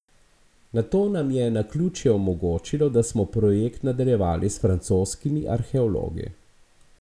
Nato nam je naključje omogočilo, da smo projekt nadaljevali s francoskimi arheologi.